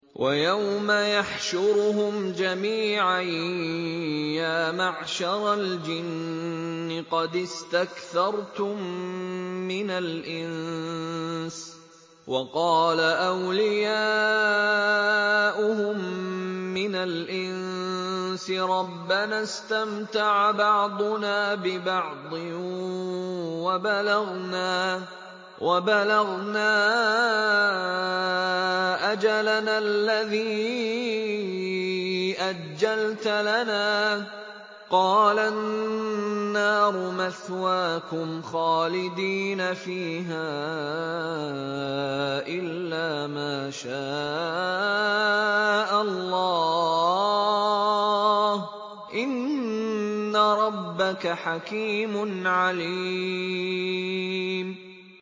وَيَوْمَ يَحْشُرُهُمْ جَمِيعًا يَا مَعْشَرَ الْجِنِّ قَدِ اسْتَكْثَرْتُم مِّنَ الْإِنسِ ۖ وَقَالَ أَوْلِيَاؤُهُم مِّنَ الْإِنسِ رَبَّنَا اسْتَمْتَعَ بَعْضُنَا بِبَعْضٍ وَبَلَغْنَا أَجَلَنَا الَّذِي أَجَّلْتَ لَنَا ۚ قَالَ النَّارُ مَثْوَاكُمْ خَالِدِينَ فِيهَا إِلَّا مَا شَاءَ اللَّهُ ۗ إِنَّ رَبَّكَ حَكِيمٌ عَلِيمٌ